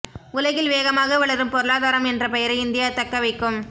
உலகில் வேகமாக வளரும் பொருளாதாரம் என்ற பெயரை இந்தியா தக்க வைக்கும்